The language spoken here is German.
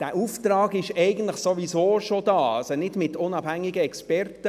» Dieser Auftrag ist eigentlich sowieso schon da, aber nicht mit unabhängigen Experten.